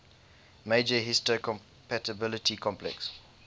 major histocompatibility complex